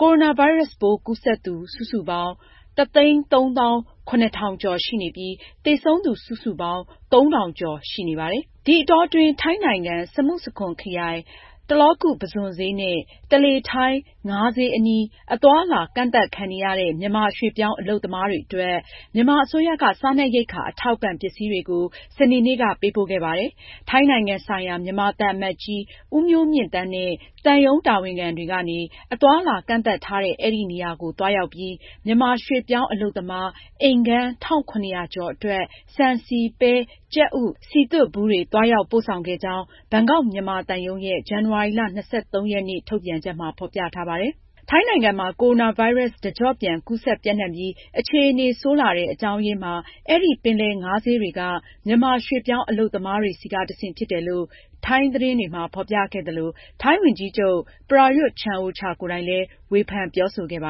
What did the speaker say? ကိုရိုနာဗိုင်းရပ်စ်ပိုး ကူးစက်သူ စုစုပေါင်း ၁၃၇,၅၇၄ ယောက်ရှိနေပြီး သေဆုံးသူ စုစုပေါင်း ၃,၀၆၂ ယောက် ရှိပါတယ်။ ဒီအတောအတွင်း ထိုင်းနိုင်ငံ၊ စမုစခွန်ခရိုင်၊ တလာကု ပုစွန်ဈေးနဲ့ တလေထိုင်း ငါးဈေးအနီး အသွားအလာ ကန့်သတ်ခံနေရတဲ့ မြန်မာရွှေ့ပြောင်း အလုပ်သမားတွေအတွက် မြန်မာအစိုးရက စားနပ်ရိက္ခာ အထောက်အပံ့ ပစ္စည်းတွေကို စနေနေ့က ပေးပို့ခဲ့ပါတယ်။ ထိုင်းနိုင်ငံဆိုင်ရာ မြန်မာသံအမတ်ကြီး ဦးမျိုးမြင့်သန်းနဲ့ သံရုံးတာဝန်ခံတွေကနေ အသွားအလာ ကန့်သတ်ထားတဲ့ အဲဒီနေရာကို သွားရောက်ပြီး မြန်မာရွှေ့ပြောင်းအလုပ်သမား အိမ်ခန်း ၁,၇၀၀ ကျော်အတွက် ဆန်၊ ဆီ၊ ပဲ၊ ကြက်ဥ၊ စည်သွတ်ဘူးတွေ သွားရောက်ပို့ဆောင်ခဲ့ကြောင်း ဘန်ကောက် မြန်မာသံရုံးရဲ့ ဇန်နဝါရီလ ၂၃ ရက်နေ့ ထုတ်ပြန်ချက်မှာ ဖော်ပြထားပါတယ်။ ထိုင်းနိုင်ငံမှာ ကိုရိုနာဗိုင်းရပ်စ် တကျော့ပြန် ကူးစက်ပျံ့နှံ့ပြီး အခြေအနေဆိုးလာတဲ့ အကြောင်းအရင်းမှာ အဲဒီ ပင်လယ်ငါးဈေးတွေက မြန်မာရွှေ့ပြောင်းအလုပ်သမားတွေဆီက တဆင့် ဖြစ်တယ်လို့ ထိုင်းသတင်းတွေမှာ ဖော်ပြခဲ့သလို ထိုင်းဝန်ကြီးချုပ် Prayut Chan-o-cha ကိုယ်တိုင်လည်း ဝေဖန်ပြောဆိုခဲ့တာပါ